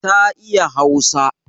Ta iya Hausa.